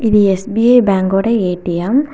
SBI bank ஓட A T M .